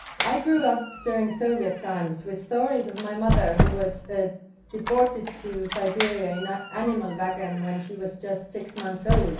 I grew up during Soviet times with stories from my mother who was deported to Siberia in a animal wagon when she was just six months old